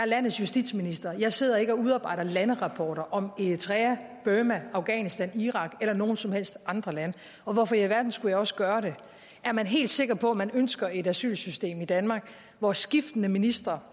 landets justitsminister jeg sidder ikke og udarbejder landerapporter om eritrea burma afghanistan irak eller nogen som helst andre lande og hvorfor i alverden skulle jeg også gøre det er man helt sikker på at man ønsker et asylsystem i danmark hvor skiftende ministre